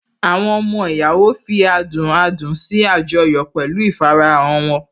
Àwọn ọmọ ìyàwó fi adùn adùn sí àjọyọ̀ pẹ̀lú ìfarahàn wọn